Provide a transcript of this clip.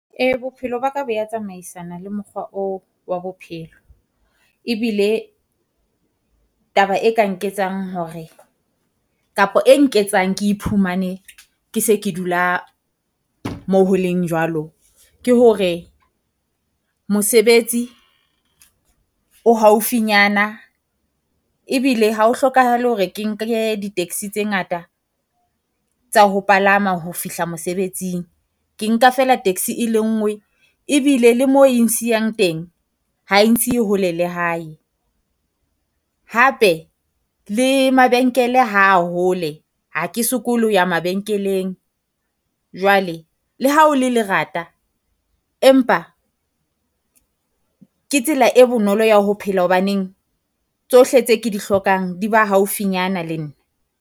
Ee bophelo ba ka bo ya tsamaisana le mokgoa oo wa bophelo. Ebile taba e ka nketsang hore kapo e nketsang ke iphumane ke se ke dula mo ho leng jwalo, ke hore mosebetsi o haufinyana. Ebile ha ho hlokahale hore ke nke di-taxi tse ngata tsa ho palama ho fihla mosebetsing, ke nka feela taxi e le ngwe ebile le moo e ngsiang teng, ha e nsiye hole le hae. Hape le mabenkele ha hole, ha ke sokole ho ya mabenkeleng, jwale le ha o le lerata empa ke tsela e bonolo ya ho phela hobaneng. Tsohle tse ke di hlokang di ba haufinyana le nna.